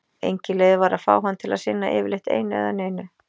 Engin leið var að fá hann til að sinna yfirleitt einu eða neinu.